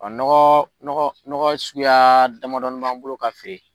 nɔgɔ nɔgɔ nɔnɔsuguya damadɔnini b'an bolo ka feere.